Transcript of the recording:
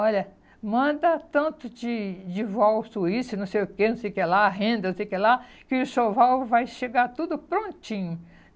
Olha, manda tanto de de Suíço, não sei o quê, não sei o que lá, renda não sei o que lá, que o enxoval vai chegar tudo prontinho.